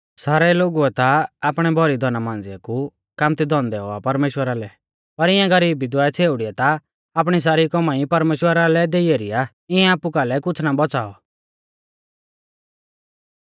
सेठ लोगुऐ ता आपणै भौरी धना मांझ़िऐ कु कामत्ती धन दैऔ आ परमेश्‍वरा लै पर इंऐ गरीब विधवा छ़ेउड़िऐ ता आपणी सारी कौमाई परमेश्‍वरा लै देई एरी आ इंऐ आपु कालै कुछ़ ना बौच़ाऔ